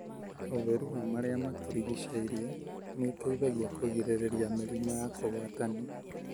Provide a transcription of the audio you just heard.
ũtheru wa marĩa matũrigicĩirie nĩ ũteithagia kũgirĩriria mĩrimũ ya kũgwatania.